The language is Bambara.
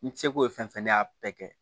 N seko ye fɛn fɛn ye ne y'a bɛɛ kɛ